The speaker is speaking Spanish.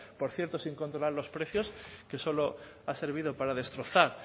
por cierto sin controlar los precios que solo ha servido para destrozar